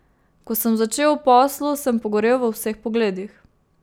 Ko sem začel v poslu, sem pogorel v vseh pogledih.